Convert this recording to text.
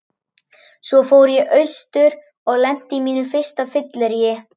Svo fór ég austur og lenti á mínu fyrsta fylleríi.